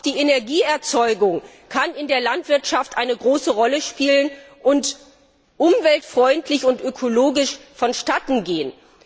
Aber auch die Energieerzeugung kann in der Landwirtschaft eine große Rolle spielen und umweltfreundlich und ökologisch vonstatten gehen.